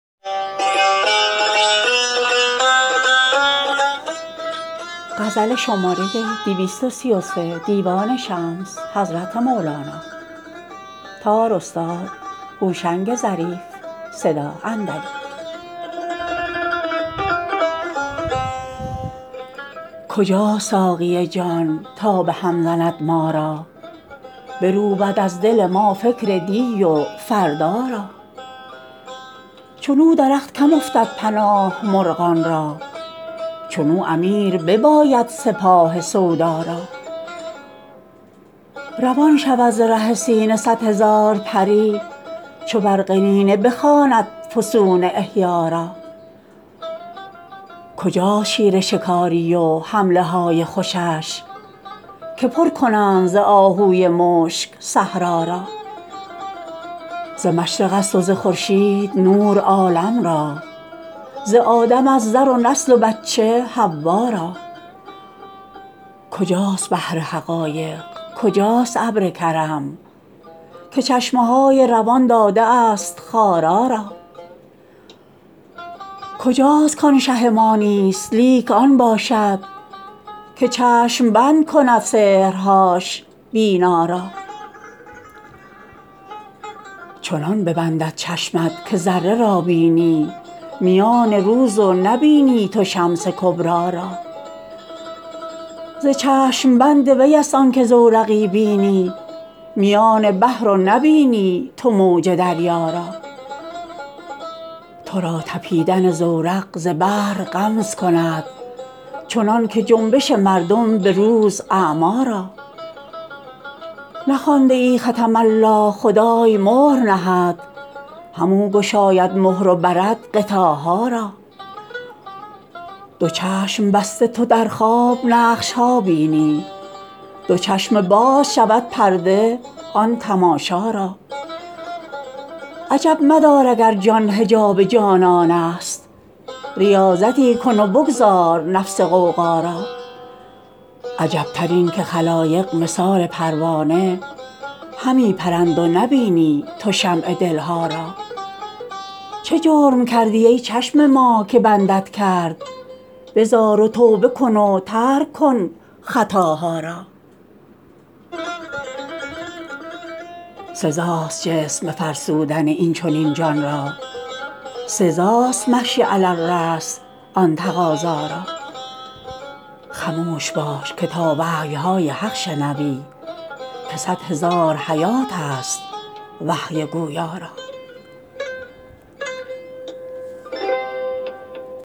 کجاست ساقی جان تا به هم زند ما را بروبد از دل ما فکر دی و فردا را چنو درخت کم افتد پناه مرغان را چنو امیر بباید سپاه سودا را روان شود ز ره سینه صد هزار پری چو بر قنینه بخواند فسون احیا را کجاست شیر شکاری و حمله های خوشش که پر کنند ز آهوی مشک صحرا را ز مشرقست و ز خورشید نور عالم را ز آدمست در و نسل و بچه حوا را کجاست بحر حقایق کجاست ابر کرم که چشمه های روان داده است خارا را کجاست کان شه ما نیست لیک آن باشد که چشم بند کند سحرهاش بینا را چنان ببندد چشمت که ذره را بینی میان روز و نبینی تو شمس کبری را ز چشم بند ویست آنک زورقی بینی میان بحر و نبینی تو موج دریا را تو را طپیدن زورق ز بحر غمز کند چنانک جنبش مردم به روز اعمی را نخوانده ای ختم الله خدای مهر نهد همو گشاید مهر و برد غطاها را دو چشم بسته تو در خواب نقش ها بینی دو چشم باز شود پرده آن تماشا را عجب مدار اگر جان حجاب جانانست ریاضتی کن و بگذار نفس غوغا را عجبتر اینک خلایق مثال پروانه همی پرند و نبینی تو شمع دل ها را چه جرم کردی ای چشم ما که بندت کرد بزار و توبه کن و ترک کن خطاها را سزاست جسم بفرسودن این چنین جان را سزاست مشی علی الراس آن تقاضا را خموش باش که تا وحی های حق شنوی که صد هزار حیاتست وحی گویا را